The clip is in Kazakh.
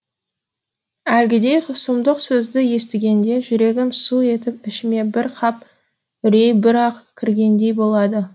әлгідей сұмдық сөзді естігенде жүрегім су етіп ішіме бір қап үрей бір ақ кіргендей болады